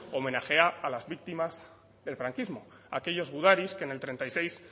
homenajea a las víctimas del franquismo a aquellos gudaris que en el treinta y seis